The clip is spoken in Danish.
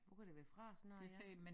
Hvor kan det være fra sådan noget her